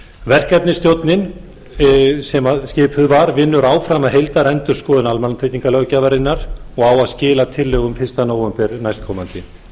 verkefnisstjórnin sem skipuð var vinnur áfram að heildarendurskoðun almannatryggingalöggjafarinnar og á að skila tillögum fyrsta nóvember næstkomandi